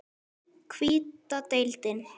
Hvíta deildin